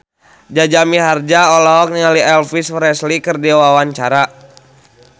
Jaja Mihardja olohok ningali Elvis Presley keur diwawancara